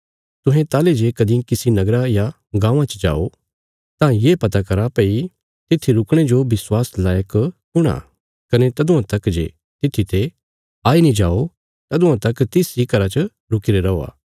तुहें ताहली जे कदीं किसी नगरा या गाँवां च जाओ तां ये पता करा भई तित्थी रुकणे जो विश्वास लैक कुण आ कने तदुआं तक जे तित्थी ते आई नीं जाओ तदुआं तक तिस इ घरा च रुकीरे रौआ